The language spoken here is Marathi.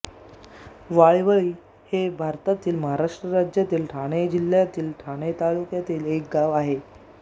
वाईवळी हे भारतातील महाराष्ट्र राज्यातील ठाणे जिल्ह्यातील ठाणे तालुक्यातील एक गाव आहे